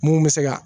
Mun bɛ se ka